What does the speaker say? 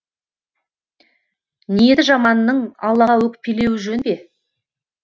ниеті жаманның аллаға өкпелеуі жөн бе